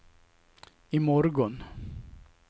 imorgon